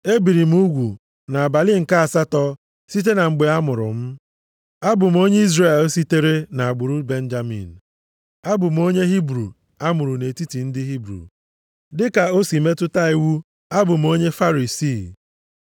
e biri m ugwu nʼabalị nke asatọ site na mgbe a mụrụ m, abụ m onye Izrel, sitere nʼagbụrụ Benjamin; abụ m onye Hibru a mụrụ nʼetiti ndị Hibru; dị ka o si metụta iwu abụ m onye Farisii;